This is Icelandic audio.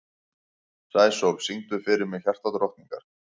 Sæsól, syngdu fyrir mig „Hjartadrottningar“.